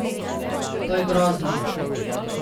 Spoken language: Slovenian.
To je grozno!